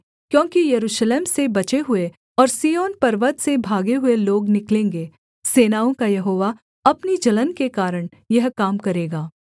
क्योंकि यरूशलेम से बचे हुए और सिय्योन पर्वत से भागे हुए लोग निकलेंगे सेनाओं का यहोवा अपनी जलन के कारण यह काम करेगा